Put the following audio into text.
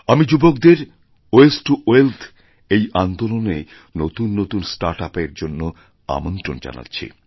আমি যুবকদের ওয়াস্তেতো ওয়েথ এই আন্দোলনে নতুন নতুন স্টার্টআপএরজন্য আমন্ত্রণ জানাচ্ছি